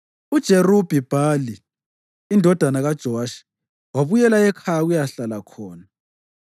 UJerubhi-Bhali indodana kaJowashi wabuyela ekhaya ukuyahlala khona.